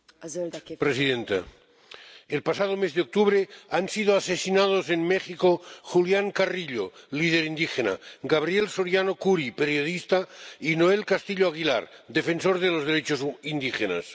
Señora presidenta, el pasado mes de octubre fueron asesinados en México Julián Carrillo, líder indígena, Gabriel Soriano Kuri, periodista, y Noel Castillo Aguilar, defensor de los derechos de los indígenas.